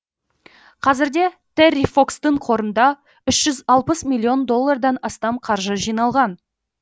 қазірде терри фокстың қорында үш жүз миллион доллардан астам қаржы жиналған